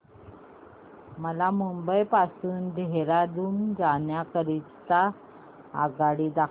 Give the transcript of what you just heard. मला मुंबई पासून देहारादून जाण्या करीता आगगाडी दाखवा